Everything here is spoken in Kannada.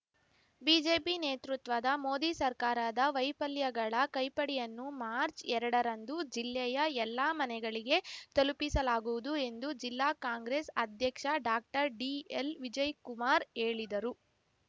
ಬಿಜೆಪಿ ನೇತೃತ್ವದ ಮೋದಿ ಸರ್ಕಾರದ ವೈಫಲ್ಯಗಳ ಕೈಪಡಿಯನ್ನು ಮಾರ್ಚ್ಎರಡರಂದು ಜಿಲ್ಲೆಯ ಎಲ್ಲಾ ಮನೆಗಳಿಗೆ ತಲುಪಿಸಲಾಗುವುದು ಎಂದು ಜಿಲ್ಲಾ ಕಾಂಗ್ರೆಸ್‌ ಅಧ್ಯಕ್ಷ ಡಾಕ್ಟರ್ ಡಿಎಲ್‌ ವಿಜಯ್ ಕುಮಾರ್‌ ಹೇಳಿದರು